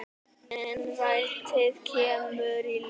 Innrætið kemur í ljós.